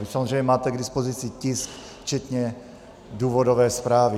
Vy samozřejmě máte k dispozici tisk včetně důvodové zprávy.